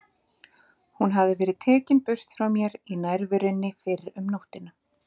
Hún hafði verið tekin burt frá mér í nærverunni fyrr um nóttina.